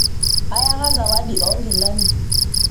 ayaka zawadi ongilani